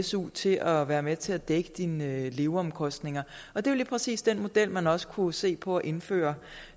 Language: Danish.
su til at være med til at dække dine leveomkostninger og det er lige præcis den model man også kunne se på at indføre